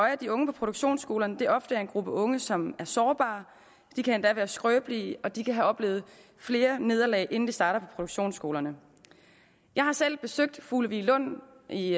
at de unge på produktionsskolerne ofte er en gruppe unge som er sårbare de kan endda være skrøbelige og de kan have oplevet flere nederlag inden de starter på produktionsskolerne jeg har selv besøgt fugleviglund i